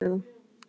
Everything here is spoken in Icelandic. Burt með þá.